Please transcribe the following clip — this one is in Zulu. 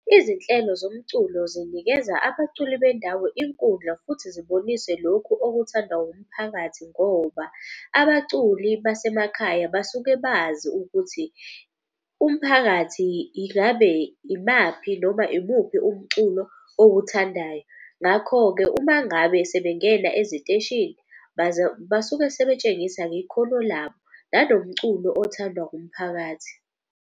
Izinhlelo zomculo zinikeza abaculi bendawo inkundla futhi zibonise lokhu okuthandwa umphakathi. Ngoba abaculi basemakhaya basuke bazi ukuthi umphakathi ingabe ibaphi noma imuphi umculo owuthandayo. Ngakho-ke uma ngabe sebengena eziteshini basuke sebetshengisa-ke ikhono labo nanomculo othandwa umphakathi.